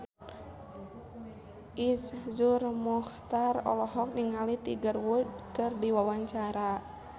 Iszur Muchtar olohok ningali Tiger Wood keur diwawancara